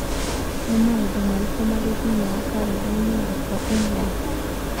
Nĩ maũndũ marĩkũ marĩ thĩinĩ wa kalendarĩ yakwa ya ũmũthĩ